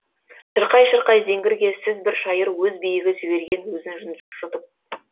шырқай шырқай зеңгірге сіз бір шайыр өз биігі жіберген өзін жұтып